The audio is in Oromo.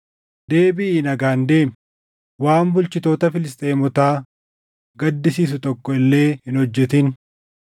Deebiʼii nagaan deemi; waan bulchitoota Filisxeemotaa gaddisiisu tokko illee hin hojjetin.”